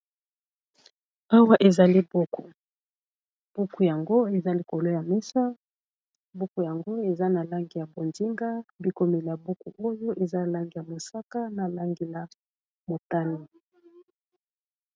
Awa ezali buku buku yango eza likolo ya mesa buku yango eza na langi ya bondinga, bikomeli ya buku oyo eza a langi ya mosaka, na langi ya motano.